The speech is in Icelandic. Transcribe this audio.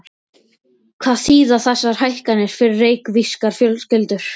Hvað þýða þessar hækkanir fyrir reykvískar fjölskyldur?